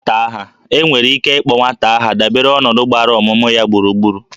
E nwere ike ịkpọ nwata aha dabere n'ọnọdụ gbara ọmụmụ ya gburugburu